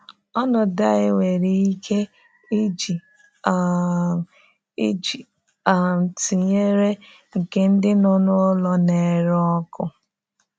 Ọnọdụ anyị nwere ike iji um iji um tụnyere nke ndị nọ n’ụlọ na-ere ọkụ.